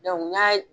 n y'a